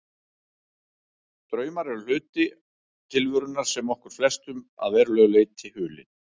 Draumar eru hluti tilverunnar sem er okkur flestum að verulegu leyti hulinn.